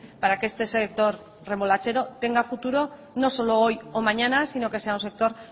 para que este sector remolachero tenga futuro no solo hoy o mañana sino que sea un sector